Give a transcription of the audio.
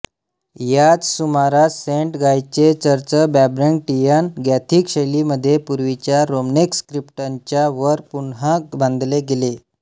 याच सुमारास सेंट गायचे चर्च ब्रॅबॅन्टियन गॉथिक शैलीमध्ये पूर्वीच्या रोमनेस्क क्रिप्टच्या वर पुन्हा बांधले गेले